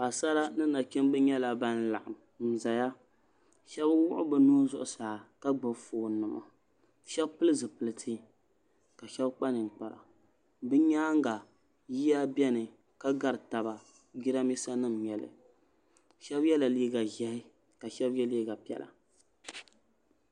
paɣasara ni nachimbi nyɛla ban laɣam ʒɛya shab wuɣi bi nuhi zuɣusaa ka gbubi foon nima shab pili zipiliti ka shab kpa ninkpara bi nyaanga yiya biɛni ka gari taba jiranbiisa nim n nyɛli shab yɛla liiga ʒiɛhi ka shab yɛ liiga piɛla